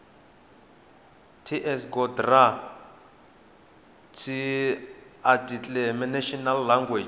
ts gov dra tsoarticlenational language